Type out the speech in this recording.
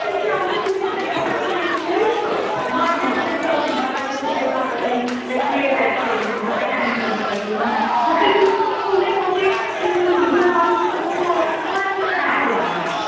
দেখবি, আমিও দু-তিনটে ঢাকাই কিনেছি জানিসতো? মার যেটা দেখবি আমাদের ঢাকাইয়ের প্রতি একটা আলাদাই একটা craze আছে যে ঢাকাই কিনবো, ঢাকাই কিনবো, ঢাকাইগুলো কীরম ফুলে থাকে , সেই পরলে মনে হয় বালিশের মতো, আমার একেবারে ভালো লাগেনা।